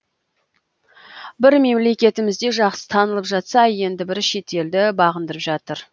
бірі мемлекетімізде жақсы танылып жатса енді бірі шетелді бағындырып жатыр